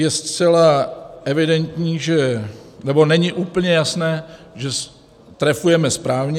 Je zcela evidentní, nebo není úplně jasné, že trefujeme správně.